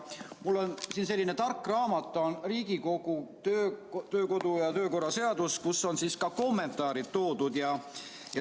Mul on siin selline tark raamat, see on Riigikogu kodu- ja töökorra seadus, milles on ka kommentaarid.